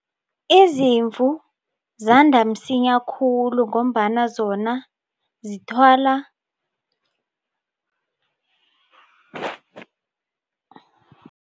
Izimvu zanda msinya khulu ngombana zona zithola